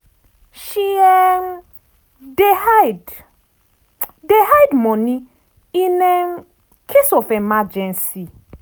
she um dey hide dey hide money in um case of emergency